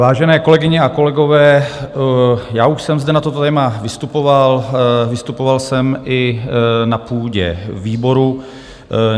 Vážené kolegyně a kolegové, já už jsem zde na toto téma vystupoval, vystupoval jsem i na půdě výboru.